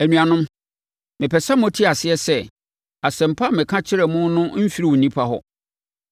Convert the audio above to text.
Anuanom, mepɛ sɛ mote aseɛ sɛ, Asɛmpa a meka kyerɛ mo no mfiri onipa hɔ.